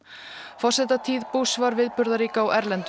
forsetatíð var viðburðarík á erlendum